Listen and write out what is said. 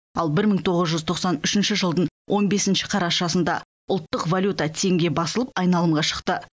ал бір мың тоғыз жүз тоқсан үшінші жылдың он бесінші қарашасында ұлттық валюта теңге басылып айналымға шықты